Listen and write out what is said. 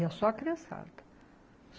Ia só a criançada.